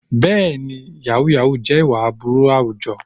Bẹ́ẹ̀ni, yàhú yàhú jẹ́ ìwà aburú àwùjọ.